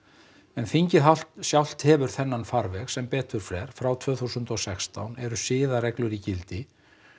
en þingið sjálft hefur þennan farveg sem betur fer frá tvö þúsund og sextán eru siðareglur í gildi